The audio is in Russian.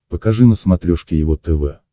покажи на смотрешке его тв